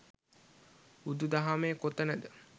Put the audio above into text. බුදු දහමේ කොතනද